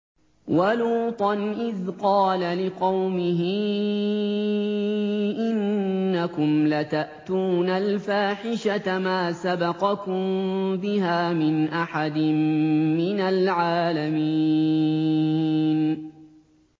وَلُوطًا إِذْ قَالَ لِقَوْمِهِ إِنَّكُمْ لَتَأْتُونَ الْفَاحِشَةَ مَا سَبَقَكُم بِهَا مِنْ أَحَدٍ مِّنَ الْعَالَمِينَ